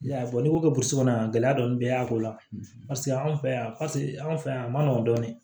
n'i ko ko burusi kɔnɔ gɛlɛya dɔɔni bɛ y'a ko la paseke anw fɛ yan paseke an fɛ yan a ma nɔgɔn dɔɔnin